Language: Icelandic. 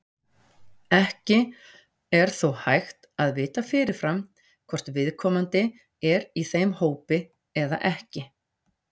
Ekki er þó hægt að vita fyrirfram hvort viðkomandi er í þeim hópi eða ekki.